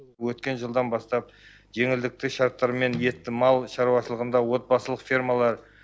өткен жылдан бастап жеңілдікті шарттармен етті мал шаруашылығында отбасылық фермалар